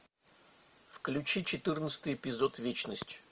включи четырнадцатый эпизод вечность